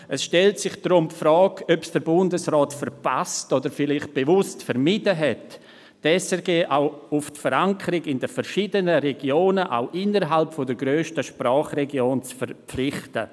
Es stellt sich deshalb die Frage, ob es der Bundesrat verpasst oder vielleicht bewusst vermieden hat, die SRG auch auf die Verankerung in den verschiedenen Regionen auch innerhalb der grössten Sprachregion zu verpflichten.